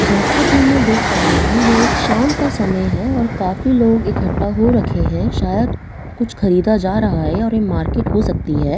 जैसा कि मैं देख पा रही हूँ यह एक शाम का समय हैं और काफी लोग एकट्ठा हो रखे है शायद कुछ ख़रीदा जा रहा है और यह मार्केट हो सकती हैं।